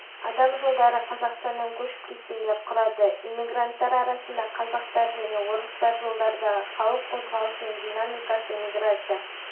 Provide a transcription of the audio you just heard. адам жылдары қазақстаннан көшіп кеткендер құрады иммигранттар арасында қазақтар және орыстар жылдардағы халық өозғалысының динамикасы миграция